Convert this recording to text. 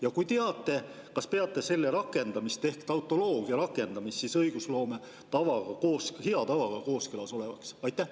Ja kui teate, kas peate selle rakendamist ehk tautoloogia rakendamist õigusloome hea tavaga kooskõlas olevaks?